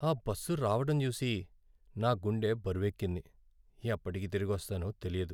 ఆ బస్సు రావటం చూసి, నా గుండె బరువెక్కింది.ఎప్పటికి తిరిగొస్తానో తెలియదు.